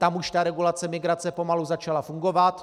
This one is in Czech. Tam už ta regulace migrace pomalu začala fungovat.